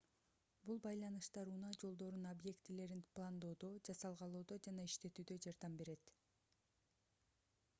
бул байланыштар унаа жолдорунун объектилерин пландоодо жасалгалоодо жана иштетүүдө жардам берет